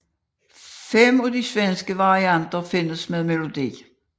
Fem af de svenske varianter findes med melodi